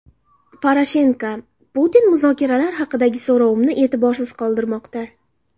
Poroshenko: Putin muzokaralar haqidagi so‘rovimni e’tiborsiz qoldirmoqda.